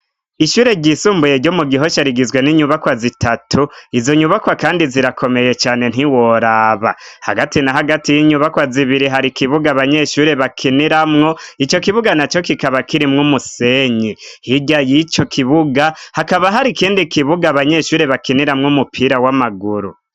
Ishure ryisumbuye ryo mu Gihosha rigizwe n'inyubakwa zitatu. Izo nyubakwa kandi zirakomeye cane ntiworaba. Hagati na hagati y'inyubakwa zibiri hari ikibuga abanyeshuri bakiniramwo, ico kibuga na co kikaba kirimwo umusenyi. Hirya y'ico kibuga hakaba hari ikindi kibuga abanyeshure bakiniramwo umupira w'amaguru.